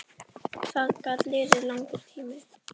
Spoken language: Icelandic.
Það gat liðið langur tími.